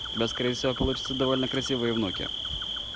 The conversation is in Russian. у тебя скорее всего получатся довольно красивые внуки